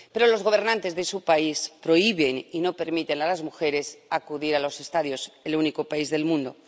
Pero los gobernantes de su país prohíben y no permiten a las mujeres acudir a los estadios —el único país del mundo—.